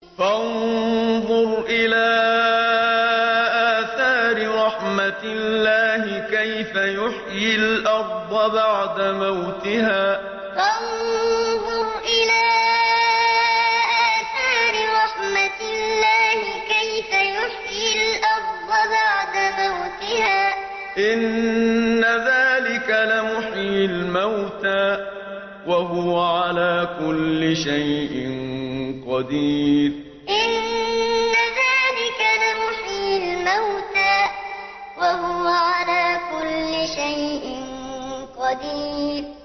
فَانظُرْ إِلَىٰ آثَارِ رَحْمَتِ اللَّهِ كَيْفَ يُحْيِي الْأَرْضَ بَعْدَ مَوْتِهَا ۚ إِنَّ ذَٰلِكَ لَمُحْيِي الْمَوْتَىٰ ۖ وَهُوَ عَلَىٰ كُلِّ شَيْءٍ قَدِيرٌ فَانظُرْ إِلَىٰ آثَارِ رَحْمَتِ اللَّهِ كَيْفَ يُحْيِي الْأَرْضَ بَعْدَ مَوْتِهَا ۚ إِنَّ ذَٰلِكَ لَمُحْيِي الْمَوْتَىٰ ۖ وَهُوَ عَلَىٰ كُلِّ شَيْءٍ قَدِيرٌ